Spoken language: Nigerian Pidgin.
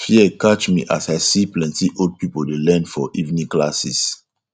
fear catch me as i see plenty old people dey learn for evening classes